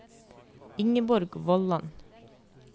Ingeborg Vollan